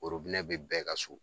bɛ bɛɛ ka so